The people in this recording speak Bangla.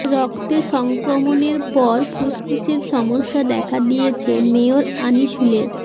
রক্তে সংক্রমণের পর ফুসফুসের সমস্যা দেখা দিয়েছে মেয়র আনিসুলের